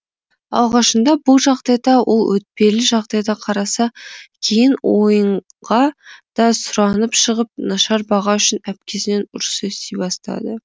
алғашында бұл жағдайда ол өтпелі жағдайда қараса кейін ойынға да сұранып шығып нашар баға үшін әпкесінен ұрыс ести бастады